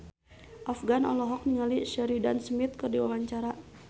Afgan olohok ningali Sheridan Smith keur diwawancara